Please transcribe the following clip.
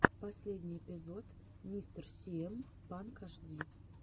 последний эпизод мистер сиэм панк ашди